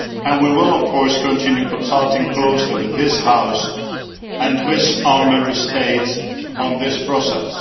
We will, of course, continue consulting closely with this House and with the Member States on this process.